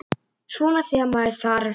Svona þegar með þarf.